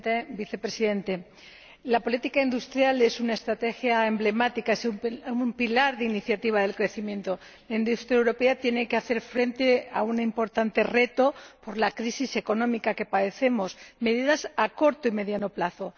Señor Presidente, Señor, Vicepresidente, la política industrial es una estrategia emblemática, un pilar de iniciativa del crecimiento. La industria europea tiene que hacer frente a un importante reto por la crisis económica que padecemos medidas a corto y medio plazo.